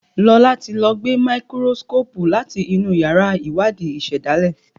Lọla tí ló gbé Máíkírósíkópù láti inú yàrá Iwadi ìsèdálè.